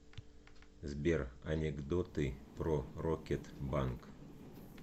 сбер анекдоты про рокет банк